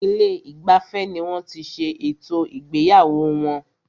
Ilé ìgbafẹ́ ní wọ́n tí ṣé ètò ìgbéyàwó wọn.